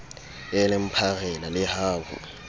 eleng pharela le ha ho